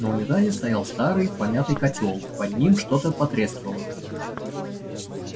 на унитазе стоял старый помятый котёл под ним что-то потрескивало